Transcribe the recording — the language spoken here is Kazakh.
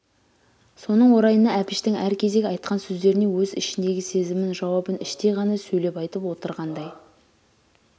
соның орайына әбіштің әр кезек айтқан сөздеріне өз ішіндегі сезімін жауабын іштей ғана сөйлеп айтып отырғандай